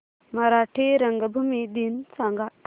मराठी रंगभूमी दिन सांगा